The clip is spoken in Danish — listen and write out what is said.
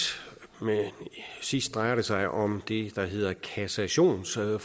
sidst drejer det sig om det der hedder kassationsforbuddet